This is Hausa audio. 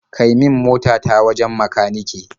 Kai min mota ta wajen makanike.